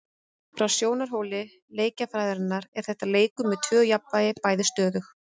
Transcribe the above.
Frá sjónarhóli leikjafræðinnar er þetta leikur með tvö jafnvægi, bæði stöðug.